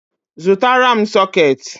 zụtara m sooketi